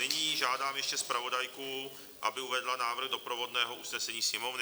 Nyní žádám ještě zpravodajku, aby uvedla návrh doprovodného usnesení Sněmovny.